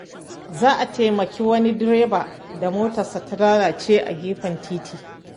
Za a taimaki wani direba da motarsa ta lalace a gefen titi.